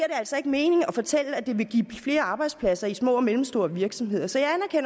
altså ikke mening at fortælle at det vil give flere arbejdspladser i små og mellemstore virksomheder så